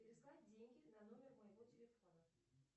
переслать деньги на номер моего телефона